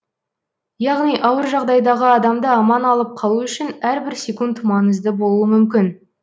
яғни ауыр жағдайдағы адамды аман алып қалу үшін әрбір секунд маңызды болуы мүмкін